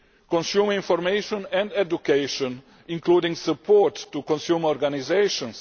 consumer information and education, including support to consumer organisations